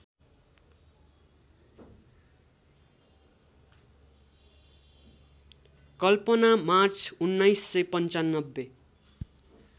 Kalpana March १९९५